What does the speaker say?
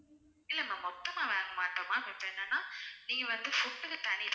இல்ல ma'am மொத்தமா வாங்கமாட்டோம் ma'am இப்ப என்னனா நீங்க வந்து food க்கு தனி தான்